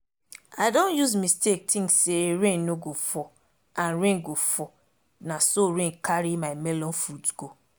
i don use mistake think say rain no go fall and rain go fall na so rain carry my melon fruit go